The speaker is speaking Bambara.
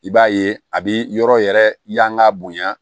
I b'a ye a bi yɔrɔ yɛrɛ yanga bonya